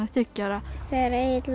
þriggja ára þegar Egill